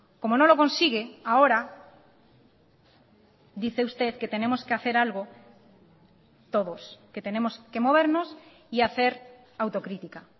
como no lo consigue ahora dice usted que tenemos que hacer algo todos que tenemos que movernos y hacer autocrítica